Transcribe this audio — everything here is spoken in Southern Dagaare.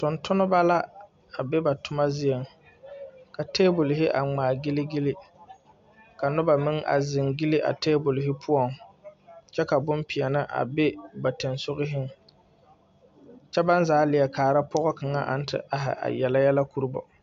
Tungtumba la a be ba tuma zeɛ ka tabol hi a ngmaagili gili ka nuba meng a zeng gyili a tabol hi puo kye ka bunpeɛle a be ba tensug hi kye ban zaa leɛ kaara poɔ kanga nang te arẽ a arẽ yele yɛlɛ kuro bo.